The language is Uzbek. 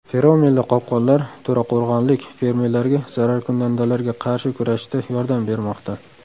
Feromonli qopqonlar to‘raqo‘rg‘onlik fermerlarga zararkunandalarga qarshi kurashishda yordam bermoqda.